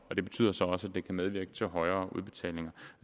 og det betyder så også at det kan medvirke til højere udbetalinger